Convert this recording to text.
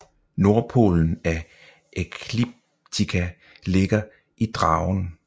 Nordpolen af ekliptika ligger i Dragen